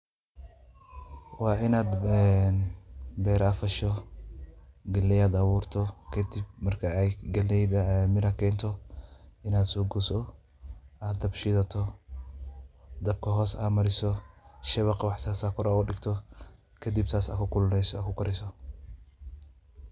Waa inaad beer aad fasho, geleyda aad abuurto, kadib marka ay geleyda miro keento, in aad soo goyso, aad dab shidato, dabka hoos aad mariso, shabakh iyo wax saas ah kor ugadigto. Kadib saas aad ku kululeyso kukariso.